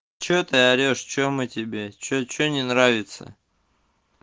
что ты орешь что мы тебе что что не нравится